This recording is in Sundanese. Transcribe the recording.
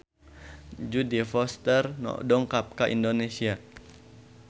Jodie Foster dongkap ka Indonesia